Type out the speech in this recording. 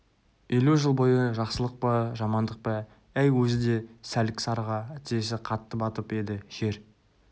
елу жыл бойы жақсылық па жамандық па әй өзі де сәлік-сарыға тізесі қатты батып еді жер